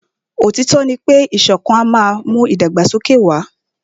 Òtítọ́ ní pé ìṣọ̀kan má n mú ìdàgbàsókè wà.